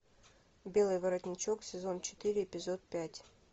белый воротничок сезон четыре эпизод пять